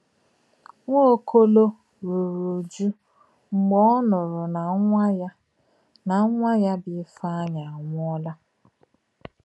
Nwaọ̀kòlò rùrù ùjụ̀ mgbe ò nùrù nà nwá yà nà nwá yà bụ́ Ífèáńyì ànwùọ́là.